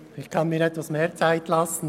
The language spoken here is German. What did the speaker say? Ich kann mir etwas mehr Zeit lassen.